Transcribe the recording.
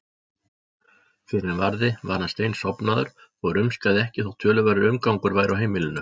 Fyrr en varði var hann steinsofnaður og rumskaði ekki þótt töluverður umgangur væri á heimilinu.